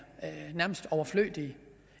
overflødige